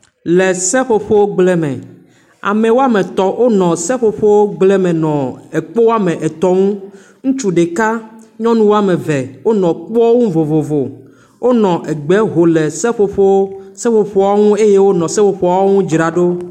Le seƒoƒo gble me. Ame woame tɔ̃ wonɔ seƒoƒogble me nɔ ekpo woame etɔ̃ ŋu. Ŋutsu ɖeka nyɔnu woa ve wonɔ ekpoa ŋu vovovo. Wonɔ egbe ho le seƒoƒoa ŋu eye wonɔ seƒoƒoawo ŋu dzra ɖo.